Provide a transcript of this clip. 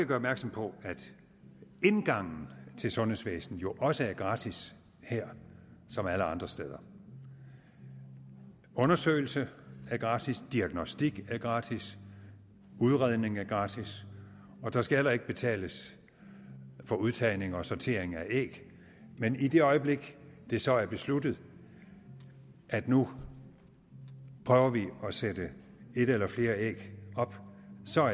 gøre opmærksom på at indgangen til sundhedsvæsenet jo også er gratis her som alle andre steder undersøgelse er gratis diagnostik er gratis udredning er gratis og der skal heller ikke betales for udtagning og sortering af æg men i det øjeblik det så er besluttet at nu prøver vi at sætte et eller flere æg op så